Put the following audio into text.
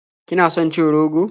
Kina son cin rogo?